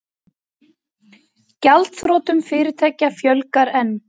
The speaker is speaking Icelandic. Gjaldþrotum fyrirtækja fjölgar enn